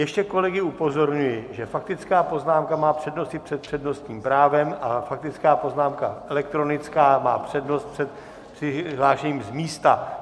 Ještě kolegy upozorňují, že faktická poznámka má přednost i před přednostním právem a faktická poznámka elektronická má přednost před přihlášením z místa.